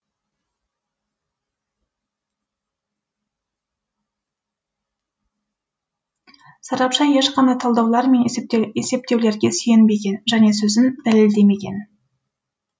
сарапшы ешқандай талдаулар мен есептеулерге сүйенбеген және сөзін дәлелдемеген